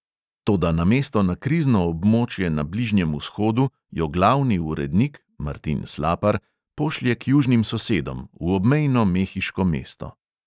Toda namesto na krizno območje na bližnjem vzhodu jo glavni urednik (martin slapar) pošlje k južnim sosedom, v obmejno mehiško mesto.